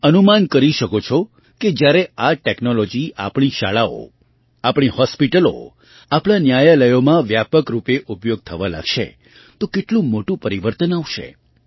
તમે અનુમાન કરી શકો છો કે જ્યારે આ ટૅક્નૉલૉજી આપણી શાળાઓ આપણી હૉસ્પિટલો આપણાં ન્યાયાલયોમાં વ્યાપક રૂપે ઉપયોગ થવા લાગશે તો કેટલું મોટું પરિવર્તન આવશે